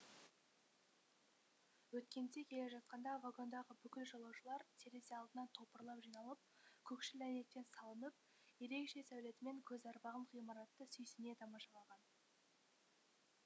өткенде келе жатқанда вагондағы бүкіл жолаушылар терезе алдына топырлап жиналып көкшіл әйнектен салынып ерекше сәулетімен көз арбаған ғимаратты сүйсіне тамашалаған